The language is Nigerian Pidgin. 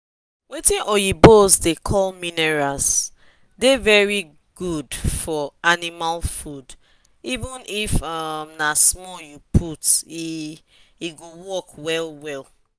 watin oyibos da call minerals da very good for animal food even if um na small u put e e go work well well